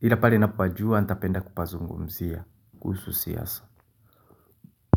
Ila pare napopajua nitapenda kupazungumzia kuhusu siyasa.